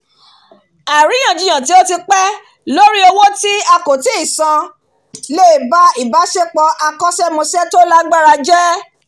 àríyànjiyàn tó ti pé lórí owó tí a kò tíì san lè ba ìbáṣepọ àkóṣẹ́mósẹ̀ to lágbára je